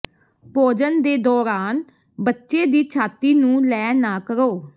ਭੋਜਨ ਦੇ ਦੌਰਾਨ ਬੱਚੇ ਦੀ ਛਾਤੀ ਨੂੰ ਲੈ ਨਾ ਕਰੋ